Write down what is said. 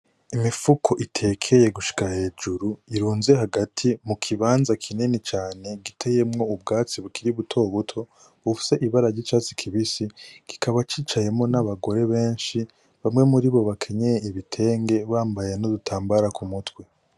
Imifuko itekeye gushika hejuru irunze hagati mu kibanza kinini cane giteyemwo ubwatsi bukiri buto buto bufise ibarary' icatsi kibisi kikaba cicayemwo n'abagore benshi bamwe muri bo bakenyeye ibitenge bambaye n’udutambara ku mutwe.